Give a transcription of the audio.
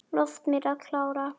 Lof mér að klára.